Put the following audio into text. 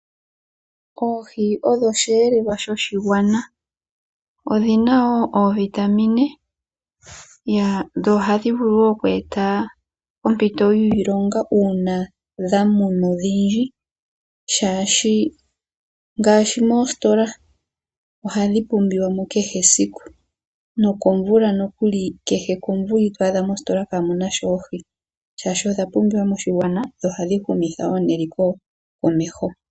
Oohi odho oshiyelelwa shoshigwana dho odhina wo ooVitamina. Dho ohadhi vulu wo oku eta oompito yiilonga uuna dha munwa odhindji shaashi ngaashi moositola ohadhi pumbiwa mo kehe esiku nokomvula nokuli kehe komvula ito adha kamuna sha oohi Shashi odha pumbiwa moshigwana dho ohadhi humitha eliko komeho.